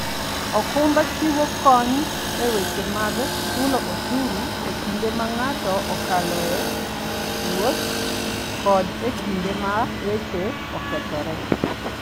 okumba chiwo kony e weche mag chulo osuru e kinde ma ng'ato okalo e wuoth kod e kinde ma weche okethore.